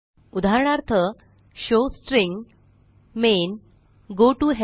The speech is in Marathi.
उदाहरणार्थ showString main goToHelp